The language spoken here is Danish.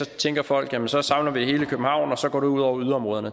tænker folk at så samler vi det hele i københavn og så går det ud over yderområderne